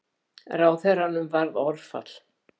Ráðherranum varð orðfall.